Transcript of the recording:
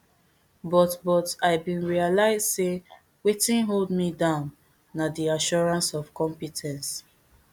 but but i bin realise say wetin hold me down na di assurance of compe ten ce